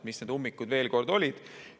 Mis need ummikud siis on?